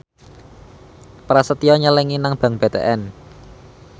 Prasetyo nyelengi nang bank BTN